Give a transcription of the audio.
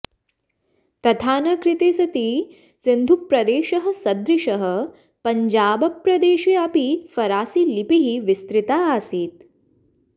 तथा न कृते सति सिन्धुप्रदेशः सदृशः पञ्जाबप्रदेशे अपि फरासीलिपिः विस्तृता आसीत्